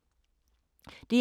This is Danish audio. DR2